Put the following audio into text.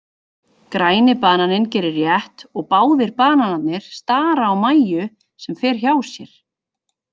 Græni bananinn gerir rétt og báðir bananarnir stara á Mæju sem fer hjá sér.